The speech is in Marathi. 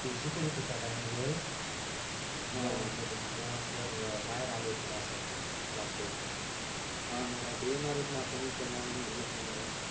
ते शिकवत होते त्या टाइम वेळेस गेलो होतो तेव्हा सर बाहेर आले होते माज्या साठी क्लास सोडून हो मग आता येणारच न आपण इतक्या लांबुन गेलों म्हणल्यावर